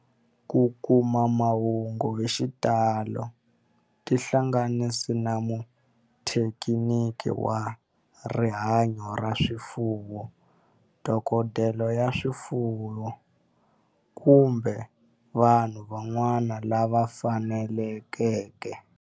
Ku kuma mahungu hi xitalo tihlanganisi na muthekiniki wa rihanyo ra swifuwo, dokodela ya swifuwo, kumbe vanhu van'wana lava fanelekeke.